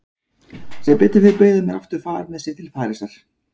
Sem betur fer bauð hann mér aftur far með sér til Parísar.